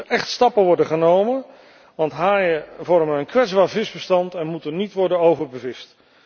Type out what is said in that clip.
Er moeten echt stappen worden ondernomen, want haaien vormen een kwetsbaar visbestand en moeten niet worden overbevist.